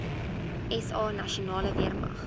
sa nasionale weermag